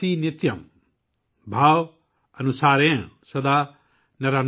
भाव अनुसारेण सदा नराणाम्।|